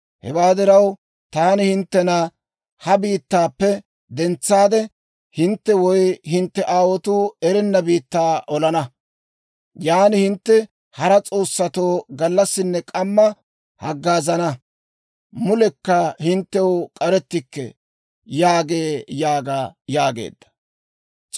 Hewaa diraw, taani hinttena ha biittaappe dentsaade, hintte woy hintte aawotuu erenna biittaa olana. Yaan hintte hara s'oossatoo gallassinne k'amma haggaazana. Mulekka hinttew k'arettikke» yaagee› yaaga» yaageedda.